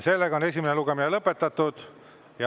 Esimene lugemine on lõpetatud.